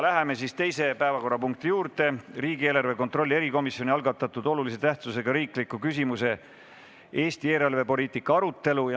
Läheme teise päevakorrapunkti juurde: riigieelarve kontrolli erikomisjoni algatatud olulise tähtsusega riikliku küsimuse "Eesti eelarvepoliitika" arutelu.